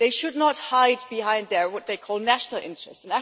They should not hide behind what they call their national interests.